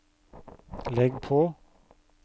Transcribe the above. legg på